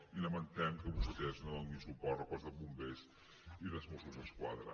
i lamentem que vostès no donin suport al cos de bombers i dels mossos d’esquadra